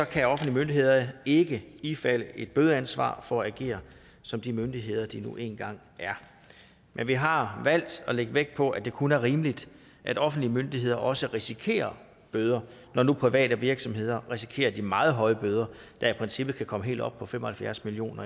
kan offentlige myndigheder ikke ifalde et bødeansvar for at agere som de myndigheder de nu engang er men vi har valgt at lægge vægt på at det kun er rimeligt at offentlige myndigheder også risikerer bøder når nu private virksomheder risikerer de meget høje bøder der i princippet kan komme helt op på fem og halvfjerds million